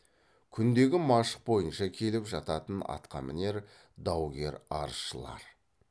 күндегі машық бойынша келіп жататын атқамінер даугер арызшылар